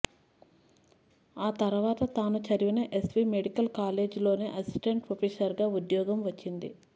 ఆ తర్వాత తాను చదివిన ఎస్వీ మెడికల్ కాలేజ్లోనే అసిస్టెంట్ ప్రొఫెసర్గా ఉద్యోగం వచ్చింది